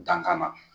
Dankan